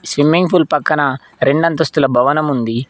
Swimming pool పక్కన రెండు అంతస్తుల భవనం ఉంది.